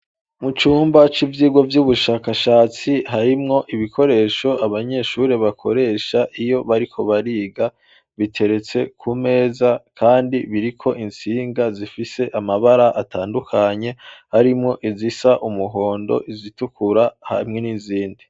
Mu cumba c'ivyigwa vy'ubushakashatsi harimwo ibikoresho abanyeshure bakoresha iyo bariko bariga biteretse ku meza kandi biriko intsinga zifise amabara atandukanye harimwo izisa umuhondo, izitukura hamwe n'izindi.